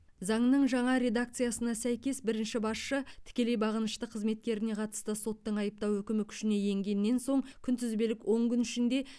заңның жаңа редакциясына сәйкес бірінші басшы тікелей бағынышты қызметкеріне қатысты соттың айыптау үкімі күшіне енгеннен соң күнтізбелік он күн ішінде